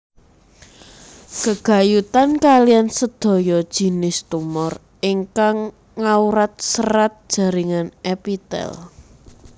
Gegayutan kaliyan sedaya jinis tumor ingkang ngawrat serat jaringan epitel